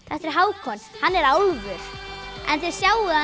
þetta er Hákon hann er álfur en þið sjáið